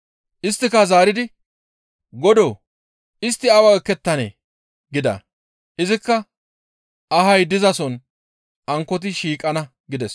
«Isttika zaaridi, ‹Godoo! Istti awa ekettanee?› gida; izikka ahay dizason ankkoti shiiqana» gides.